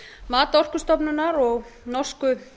mat orkustofnunar og norsku